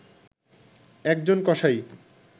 একজন কসাই